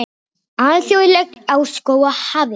Alþjóðlegt ár skóga hafið